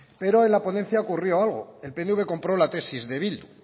pero en la ponencia ocurrió algo el pnv compró la tesis de bildu